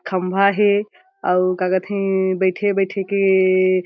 खम्भा हे अउ का कथे बैठे-बैठे केएएएए --